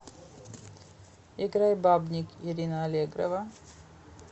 играй бабник ирина аллегрова